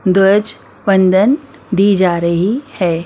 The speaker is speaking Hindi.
ध्वज वंदन दी जा रही है।